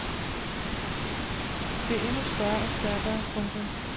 Det endnu større og stærkere. punktum